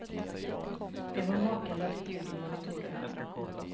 Det var makalöst ljud i monitorerna.